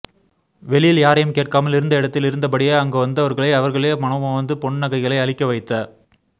வெளியில் யாரையும் கேட்காமல் இருந்த இடத்தில இருந்தபடியே அங்கு வந்தவர்களை அவர்களே மனமுவந்து பொன் நகைகளை அளிக்க வைத்த